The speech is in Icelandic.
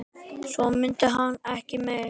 Svo mundi hann ekki meira.